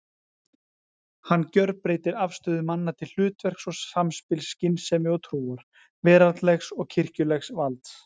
Hann gjörbreytir afstöðu manna til hlutverks og samspils skynsemi og trúar, veraldlegs og kirkjulegs valds.